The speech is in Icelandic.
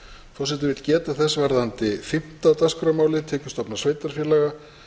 forseti vill geta þess varðandi fimmta dagskrármálið tekjustofnar sveitarfélaga